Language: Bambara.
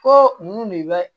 Ko mun de bɛ